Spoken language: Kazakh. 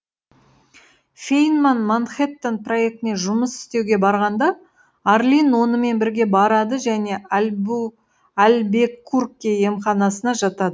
фейнман манхэттен проектіне жұмыс істеуге барғанда арлин онымен бірге барады және альбекурке емханасына жатады